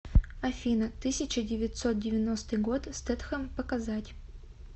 афина тысяча девятьсот девяностый год стэтхем показать